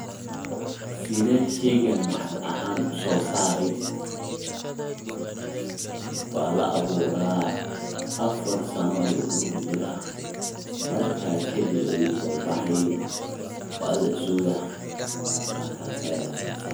Sidee shaygan maxalli ahaan u soo saaray wala aburaa afaar sano dulka kujura marka kadiib ayu sobaxaay wala sugaa marka.